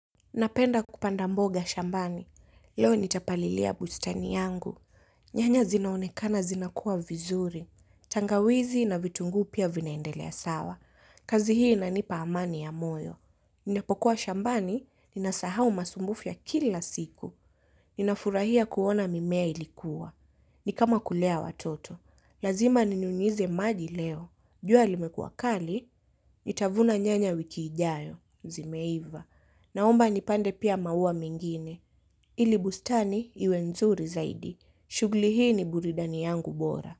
Napenda kupanda mboga shambani. Leo nitapalilia bustani yangu. Nyanya zinaonekana zina kua vizuri. Tangawizi na vitunguu pia vinaendelea sawa. Kazi hii inanipa amani ya moyo. Ninapokuwa shambani, ninasahau masumbufu ya kila siku. Ninafurahia kuona mimea ilikua. Ni kama kulea watoto. Lazima ninyunyize maji leo. Jua limekuwa kali, nitavuna nyanya wiki ijayo. Zimeiva. Naomba nipande pia maua mengine. Ili bustani iwe nzuri zaidi. Shughuli hii ni burudani yangu bora.